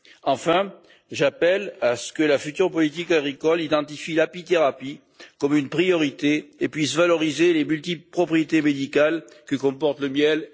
Enfin, j'appelle à ce que la future politique agricole identifie l'apithérapie comme une priorité et puisse valoriser les multiples propriétés médicales que comportent le miel et les pollens.